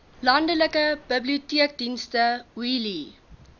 landelike biblioteekdienste wheelie